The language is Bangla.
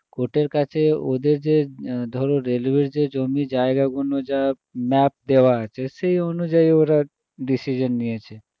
court এর কাছে ওদের যে ধরো railway এর যে জমি জায়গা গুলো যা মাপ দেওয়া আছে সেই অনুযায়ী ওরা decision নিয়েছে